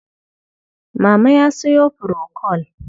Mama ya sayo furokol.